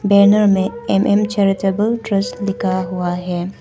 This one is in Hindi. बैनर में एम_एम चैरिटेबल ट्रस्ट लिखा हुआ है।